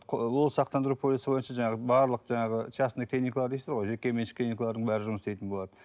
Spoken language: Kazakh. ол сақтандыру полисі бойынша жаңағы барлық жаңағы частный клиникалар дейсіз ғой жеке меншік клиникалардың бәрі жұмыс істейтін болады